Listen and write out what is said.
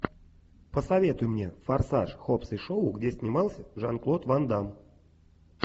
посоветуй мне форсаж хоббс и шоу где снимался жан клод ван дамм